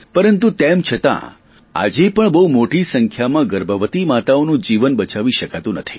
પરંતુ તેમ છતાં આજે પણ બહુ મોટી સંખ્યામાં ગર્ભવતી માતાઓનું જીવન બચાવી શકાતું નથી